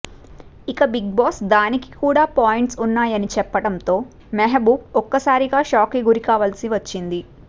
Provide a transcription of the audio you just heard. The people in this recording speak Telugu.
ఇక బిగ్ బాస్ దానికి కూడా పాయింట్స్ ఉన్నాయని చెప్పడంతో మెహబూబ్ ఒక్కసారిగా షాక్ కి గురికావలిసి వచ్చింది